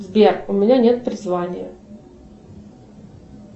сбер у меня нет призвания